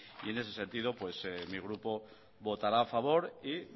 en ese sentido mi grupo votará a favor y